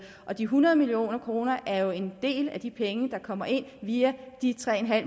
de hundrede million kroner er jo en del af de penge der kommer ind via de tre